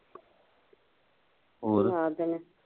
ਹੋਰ